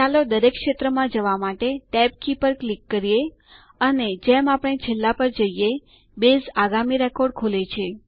ચાલો દરેક ક્ષેત્રમાં જવા માટે ટેબ કી પર ક્લિક કરીએ અને જેમ આપણે છેલ્લા પર જઈએ બેઝ આગામી રેકોર્ડ ખોલે છે